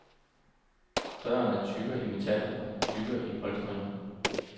Dørene er tykkere i metallet og tykkere i polstringen.